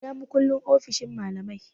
Ina makullin ofishin malamai?